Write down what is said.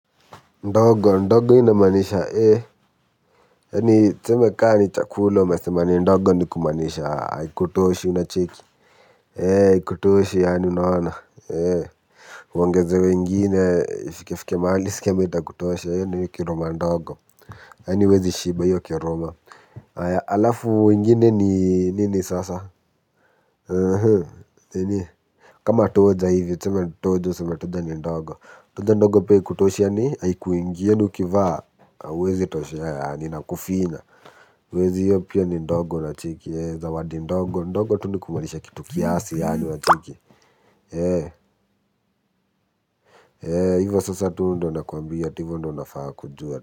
Ndogo ndogo inamanisha ee eni tseme ka ni chakula umesema ni ndogo ni kumanisha aikutoshi unacheki ee aikutoshi yaani unaona ee uongezewe ingine fike fike mahali uskiemeta kutosha yaani niki roma ndogo eni wezi shiba iyo kiroma aya alafu ngine ni nini sasa ee ni kama toja hivyo tseme toja seme toja ni ndogo toja ndogo pia aikutoshi yaani aikuingi yani ukivaa uwezi toshea yani inakufinya uwezi hiyo pia ni ndogo unacheki zawadi ndogo ndogo tu ni kumalisha kitu kiasi yani unacheki ee hivyo sasa tu ndo nakuambi ya tivo ndo nafaa kujua.